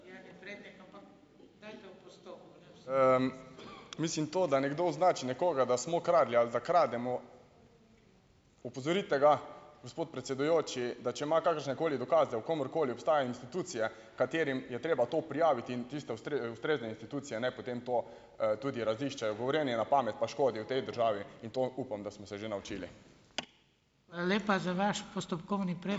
Mislim, to, da nekdo označi nekoga, da smo kradli ali da krademo, opozorite ga, gospod predsedujoči, da če ima kakršnekoli dokaze o komerkoli, obstajajo institucije, katerim je treba to prijaviti, in tiste ustrezne institucije naj potem to, tudi raziščejo. Govorjenje na pamet pa škodi v tej državi in to upam, da smo se že naučili.